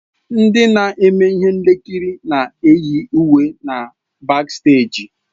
Ndị na-eme ihe nkiri na-eyi uwe na baksteeji.